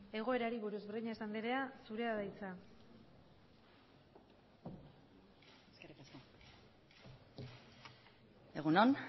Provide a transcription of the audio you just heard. egoerari buruz breñas andrea zurea da hitza eskerrik asko egun on